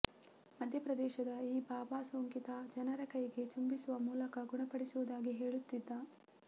ಮಧ್ಯಪ್ರದೇಶದ ಈ ಬಾಬಾ ಸೋಂಕಿತ ಜನರ ಕೈ ಚುಂಬಿಸುವ ಮೂಲಕ ಗುಣಪಡಿಸುವುದಾಗಿ ಹೇಳುತ್ತಿದ್ದ